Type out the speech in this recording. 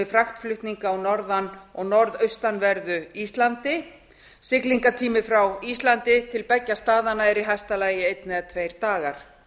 fraktflutninga á norðan og norðaustanverðu íslandi siglingatími frá íslandi til beggja staðanna er í hæsta lagi einn eða tveir dagar